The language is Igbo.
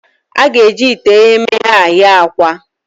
A ga-eji ite eghemeghe a ghee akwa.